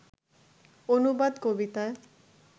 অনুবাদ কবিতা